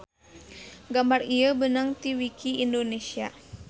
Gambar ieu beunag ti wiki indonesia